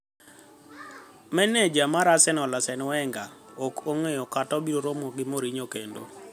Maneja mar Arsenal, Arsene Wenger: ok ang'eyo kata abiro romo gi Mourinho kendo